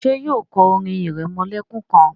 ṣe yíò kọ orin iremolekun kán?